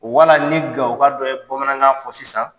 Wala ni gawoka dɔ ye bamanankan fɔ sisan